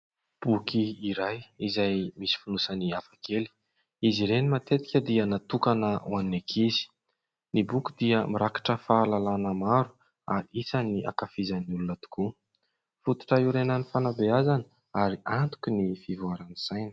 Boky iray izay misy fonosany hafakely. Izy ireny matetika dia natokana ho an'ny ankizy. Ny boky dia mirakitra fahalalàna maro ary isan'ny hankafizan'ny olona tokoa. Fototra hiorenan'ny fanabeazana ary antokin'ny fivoaran'ny saina.